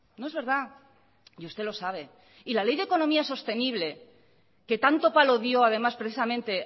no es verdad y usted lo sabe y la ley de economía sostenible que tanto palo dio además precisamente